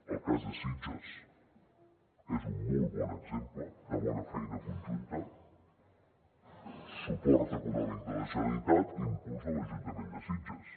el cas de sitges és un molt bon exemple de bona feina conjunta suport econòmic de la generalitat impuls de l’ajuntament de sitges